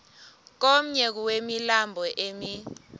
komnye wemilambo emi